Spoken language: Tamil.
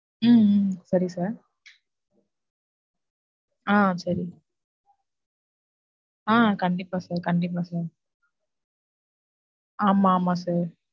உம் சரி sir. ஆஹ் சரி. ஆஹ் கண்டிப்பா sir கண்டிப்பா sir ஆமா, ஆமா sir.